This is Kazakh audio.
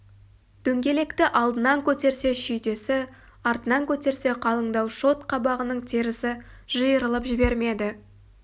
дөңгелекті алдынан көтерсе шүйдесі артынан көтерсе қалыңдау шот қабағының терісі жиырылып жібермеді